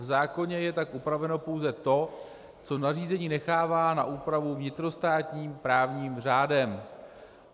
V zákoně je tak upraveno pouze to, co nařízení nechává na úpravu vnitrostátním právním řádem.